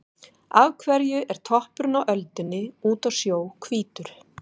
Af hverju er toppurinn á öldunni úti á sjó hvítur?